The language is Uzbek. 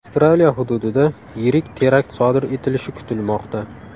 Avstraliya hududida yirik terakt sodir etilishi kutilmoqda.